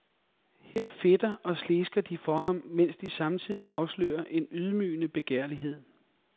Her fedter og slesker de for ham, mens de samtidig afslører en ydmygende begærlighed.